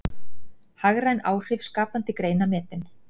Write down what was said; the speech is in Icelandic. Hagræn áhrif skapandi greina metin